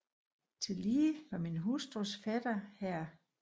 Tillige var min hustrus fætter Hr